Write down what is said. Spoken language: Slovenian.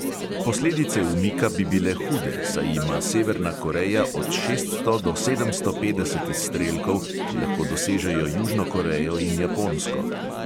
Posledice umika bi bile hude, saj ima severna koreja od šeststo do sedemsto petdeset izstrelkov, ki lahko dosežejo južno korejo in japonsko.